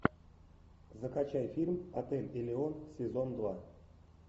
закачай фильм отель элеон сезон два